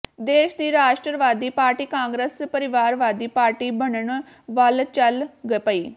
ਦੇਸ਼ ਦੀ ਰਾਸ਼ਟਰਵਾਦੀ ਪਾਰਟੀ ਕਾਂਗਰਸ ਪਰਿਵਾਰਵਾਦੀ ਪਾਰਟੀ ਬਣਨ ਵੱਲ ਚੱਲ ਪਈ